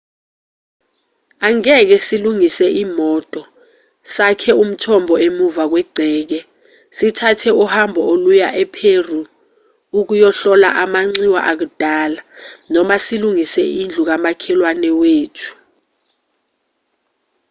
angeke silungise imoto sakhe umthombo emuva kwegceke sithathe uhambo oluya epheru ukuyohlola amanxiwa akudala noma silungise indlu kamakhelwane wethu